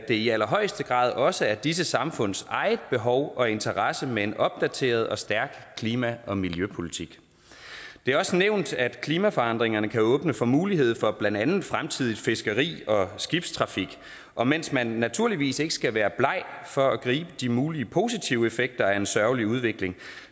i allerhøjeste grad også er i disse samfunds eget behov og interesse med en opdateret og stærk klima og miljøpolitik det er også nævnt at klimaforandringerne kan åbne for mulighed for blandt andet fremtidigt fiskeri og skibstrafik og mens man naturligvis ikke skal være bleg for at gribe de mulige positive effekter af en sørgelig udvikling